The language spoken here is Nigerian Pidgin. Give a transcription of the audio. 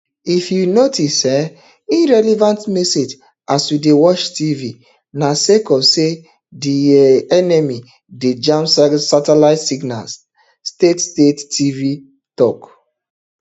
if you notice um irrelevant messages as you dey watch tv na sake of say di um enemy dey jam satellite signals state state tv tok